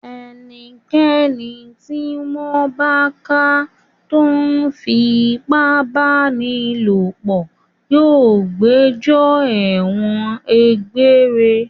Ẹnikẹ́ni tí wọ́n bá ká tó ń fi ipá báni lòpọ̀ yóò gbẹjọ́ ẹ̀wọ̀n egbére.